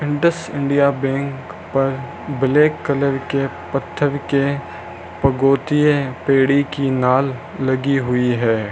Indus India bank पर black colour के पत्थर के पगोटीये पेडी की नाल लगी हुई है।